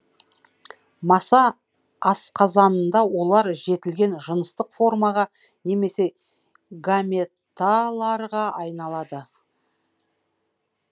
маса асқазанында олар жетілген жыныстық формаға немесе гаметаларға айналады